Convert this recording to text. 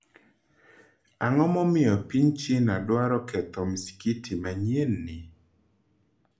Ang’o momiyo piny China dwaro ketho masikiti manyienni?